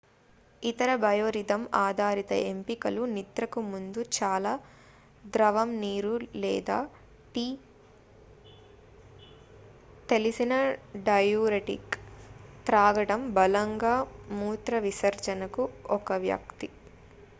ఇతర biorhythm ఆధారిత ఎంపికలు నిద్రకు ముందు చాలా ద్రవం ముఖ్యంగా నీరు లేదా టీ తెలిసిన డైయూరెటిక్ త్రాగడం బలవంతంగా మూత్రవిసర్జన కు ఒక వ్యక్తి